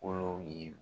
Kolo ye